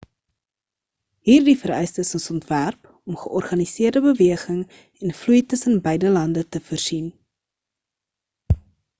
hierdie vereistes is ontwerp om georganiseerde beweging en vloei tussen beide lande te voorsien